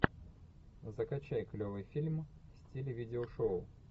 закачай клевый фильм в стиле видео шоу